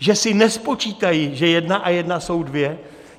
Že si nespočítají, že jedna a jedna jsou dvě?